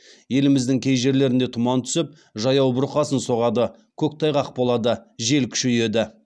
еліміздің кей жерлерінде тұман түсіп жаяу бұрқасын соғады көктайғақ болады жел күшейеді